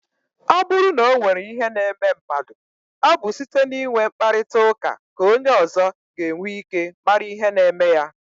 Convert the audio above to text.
Ọ bụrụ na o nwere ihe na-eme mmadụ, ọ bụ site n'inwe mkparịta ụka ka onye ọzọ ga-enwe ike mara ihe na-eme ya.